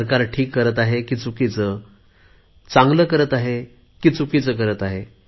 सरकार ठीक करत आहे की चुकीचे चांगले करत आहे की वाईट करत आहे